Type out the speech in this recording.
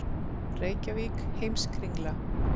Reykjavík: Heimskringla.